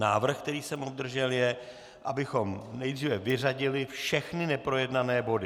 Návrh, který jsem obdržel, je, abychom nejdříve vyřadili všechny neprojednané body.